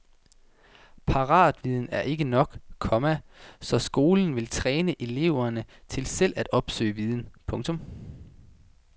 Paratviden er ikke nok, komma så skolen vil træne eleverne til selv at opsøge viden. punktum